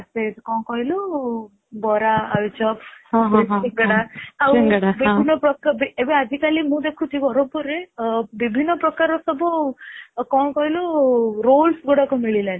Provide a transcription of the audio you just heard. ସେଇଠି କଣ କହିଲୁ ବରା ଆଳୁଚପ overlapସିଙ୍ଗଡା ଆଉ ବିଭିନ୍ନ ପ୍ରକାର, ଏବେ ଆଜି କଲି ମୁଁ ଦେଖୁଛି ବରମପୁର ରେ ବିଭିନ୍ନ ପ୍ରକାର ସବୁ କଣ କହିଲୁ rolls ଗୁଡାକ ମିଳିଲାଣି